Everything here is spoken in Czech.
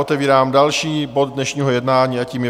Otevírám další bod dnešního jednání a tím je